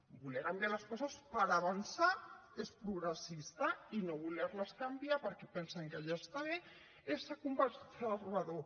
voler canviar les coses per avançar és progressista i no voler les canviar perquè pensen que ja està bé és ser conservador